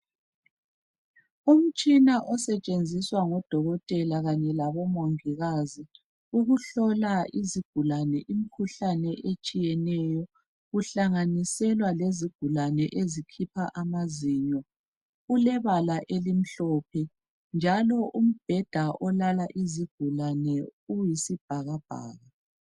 Umtshina osetshenziswa ngodhokotela kanye labomongikazi ukuhlola izigulane imikhuhlane etshiyeneyo kuhlanganiselwa lezigulane ezikhipha amazinyo ulebala elimhlophe njalo umbhedha olala izigulane uyisibhakabhaka.